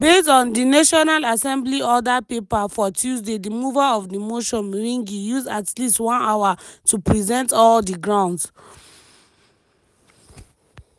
based on di national assembly order paper for tuesday di mover of di motion mwengi use at least one hour to present all di grounds.